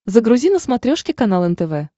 загрузи на смотрешке канал нтв